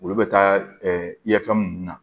Olu bɛ taa yafɛn munnu na